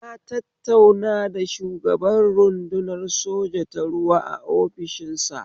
Na tattauna da shugaban rudunar soja ta ruwa a ofishinsa